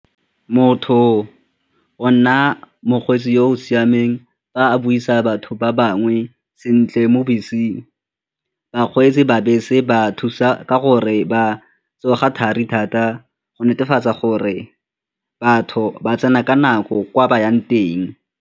Motho o nna mokgweetsi yo o siameng ba buisa batho ba bangwe sentle mo beseng. Bakgweetsi ba bese ba thusa ka gore ba tsoga thari thata go netefatsa gore batho ba tsena ka nako kwa ba yang teng.